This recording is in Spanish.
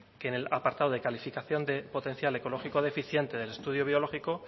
que en el apartado de calificación de potencial ecológico deficiente del estudio biológico